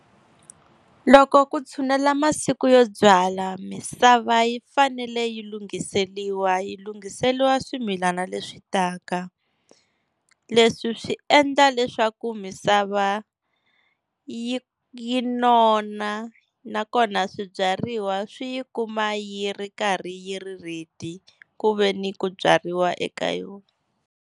Loko ku tshunela masiku yo byala, misava yi fanele yi lunghiseriwa yi lunghiseriwa swimilana leswi taka. Leswi swi endla leswaku misava yi yi nona, nakona swibyariwa swi yi kuma yi ri karhi yi ri ready ku veni ku byariwa eka yona.